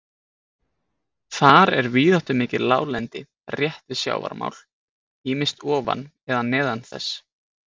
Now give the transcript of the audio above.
Þar er víðáttumikið láglendi rétt við sjávarmál, ýmist ofan eða neðan þess.